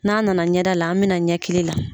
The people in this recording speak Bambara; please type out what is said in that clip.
N'an na na ɲɛda la an bɛ na ɲɛkili la.